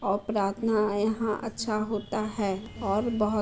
और प्रार्थना यहाँ अच्छा होता है और बहो --